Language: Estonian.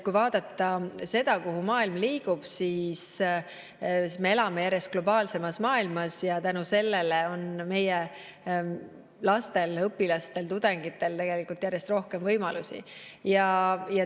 Kui vaadata seda, kuhu maailm liigub, siis me elame järjest globaalsemas maailmas ja tänu sellele on meie lastel, õpilastel ja tudengitel järjest rohkem võimalusi.